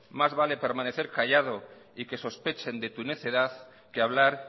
más vale permanecer callado y que sospechen de tu necedad que hablar